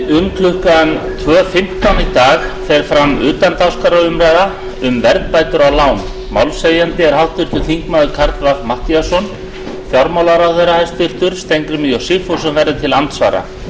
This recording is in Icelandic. um klukkan tvö fimmtán í dag fer fram utandagskrárumræða um verðbætur á lán málshefjandi er háttvirtur þingmaður karl fimmti matthíasson hæstvirtur fjármálaráðherra steingrímur j sigfússon verður til andsvara